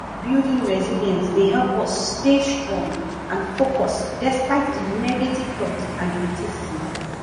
building resilience dey help us to stay strong and focused despite di negative talk and criticism